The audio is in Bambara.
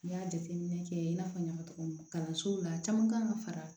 N y'a jateminɛ kɛ i n'a fɔ n y'a fɔ cogo min na kalansow la caman kan ka fara